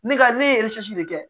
Ne ka ne ye de kɛ